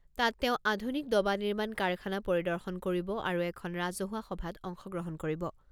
তাত তেওঁ আধুনিক ডবা নিৰ্মাণ কাৰখানা পৰিদৰ্শন কৰিব আৰু এখন ৰাজহুৱা সভাত অংশগ্ৰহণ কৰিব।